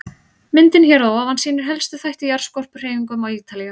Myndin hér að ofan sýnir helstu þætti í jarðskorpuhreyfingum á Ítalíu.